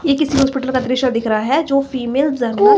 ये किसी हॉस्पिटल का दृश्य दिख रहा हैं जो फीमेल --